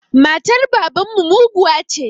Matar baban mu muguwa ce